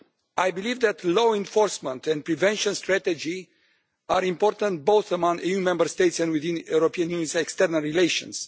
I believe that law enforcement and prevention strategy are important, both among EU Member States and in the European Union's external relations.